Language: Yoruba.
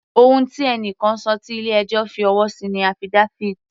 Ohun tí ẹni kan ṣọ tí ilé ẹjọ́ fi ọwọ́ sí ni affidavit.